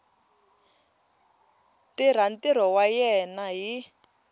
tirha ntirho wa yena hi